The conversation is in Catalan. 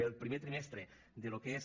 el primer trimestre del que és